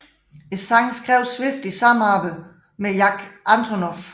Sangen skrev Swift i samarbejde med Jack Antonoff